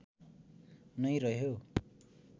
नै रह्यो